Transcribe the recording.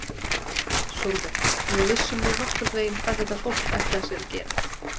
Sólveig: Við vissum nú nokkurn veginn hvað þetta fólk, ætlaði sér að gera?